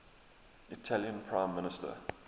italian prime minister